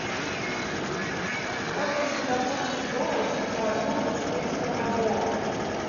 сколько сингапурских долларов с меня возьмут за четыреста бальбоа